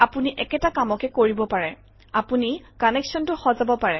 আপুনি একেটা কামকে কৰিব পাৰে আপুনি কানেক্সনটো সজাব পাৰে